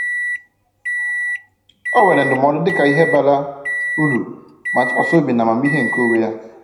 Ọ weere ndụmọdụ dịka ihe bara uru, ma tụkwasịkwa obi na amamihe nke onwe ya.